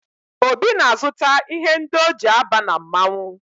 Obi na-azụta ihe ndi o ji aba na mmanwụ